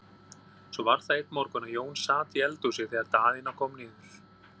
Svo var það einn morgun að Jón sat í eldhúsi þegar Daðína kom niður.